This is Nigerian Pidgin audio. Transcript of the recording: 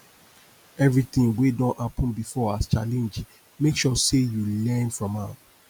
evritin wey don happen bifor as challenge mek sure sey yu learn from am